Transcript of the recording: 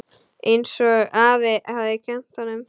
Einsog afi hafði kennt honum.